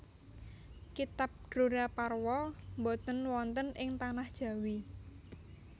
Kitab Dronaparwa boten wonten ing Tanah Jawi